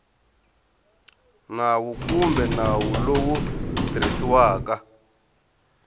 nawu kumbe nawu lowu tirhisiwaka